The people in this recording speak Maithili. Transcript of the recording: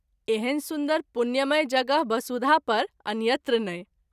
एहन सुन्दर पुण्यमय जगह बसुधा पर अन्यत्र नहिं।